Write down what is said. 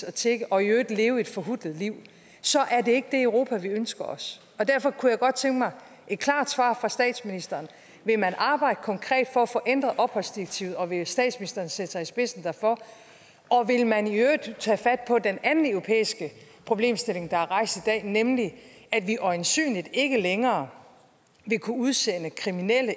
at tigge og i øvrigt leve et forhutlet liv så er det ikke det europa vi ønsker os derfor kunne jeg godt tænke mig et klart svar fra statsministeren vil man arbejde konkret for at få ændret opholdsdirektivet og vil statsministeren sætte sig i spidsen derfor og vil man i øvrigt tage fat på den anden europæiske problemstilling der er rejst i dag nemlig at vi øjensynligt ikke længere vil kunne udsende kriminelle